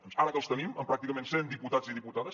doncs ara que els tenim amb pràcticament cent diputats i diputades